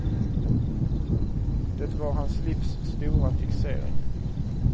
Det var hans livs stora fixering.